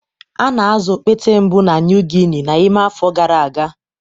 A na-azụ okpete mbụ na New Guinea n'ime afọ gara aga.